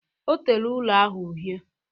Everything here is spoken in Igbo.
Ọ tere ụlọ ahụ uhie